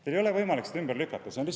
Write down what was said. Teil ei ole võimalik seda ümber lükata!